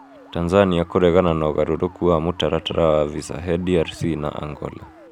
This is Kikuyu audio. Tanzania kũregana na ũgarũrũku wa mũtaratara wa visa he DRC na Angola.